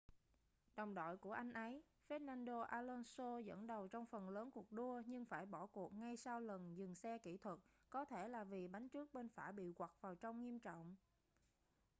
đồng đội của anh ấy fernando alonso dẫn đầu trong phần lớn cuộc đua nhưng đã phải bỏ cuộc ngay sau lần dừng xe kỹ thuật có thể là vì bánh trước bên phải bị quặt vào trong nghiêm trọng